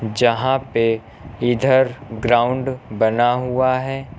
जहां पे इधर ग्राउंड बना हुआ है।